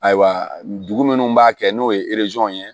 Ayiwa dugu minnu b'a kɛ n'o ye ye